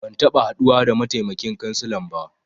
Ban taɓa haduwa da mataimakin kansilan ba.